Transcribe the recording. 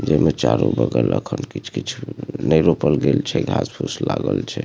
जेमे चारो बगल अखन कीच-कीच नाय रोपल गेल छे घास-फुस लागल छे।